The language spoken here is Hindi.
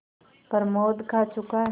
प्रमोद खा चुका